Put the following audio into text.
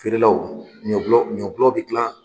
Feerelaw ɲɔ gulɔ ɲɔ gulɔ bɛ gilan